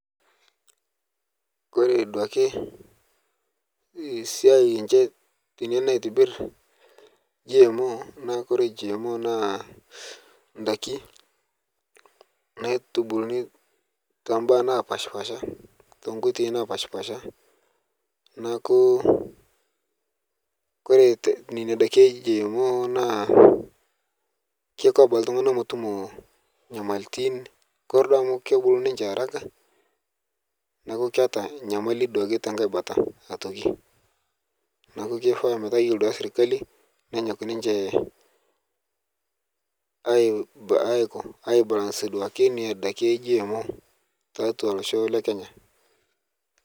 Kore duake siai enchee enia naitibiirr GMO naa kore GMO naa ndaaki naitubulunii to baya napaspasha to nkootei napaspasha. Naaku kore nenia ndaaki e GMO naa keikoo abaki ltung'ana meetumo nyamalitin. Kore doo amu keebuluu ninchee araka naaku keeta nyamalii duake te nkaai baata atokii. Naaku keifaa mataa iyeloo duake sirikali neenyook ninchee aikoo aibalansie duake nenia ndaaki e GMO te atua loshoo le Kenya.